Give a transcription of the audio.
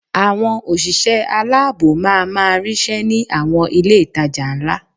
Àwọn òṣìṣẹ́ aláàbò ma máa ríṣẹ́ ní àwọn ilé-ìtajà ńlá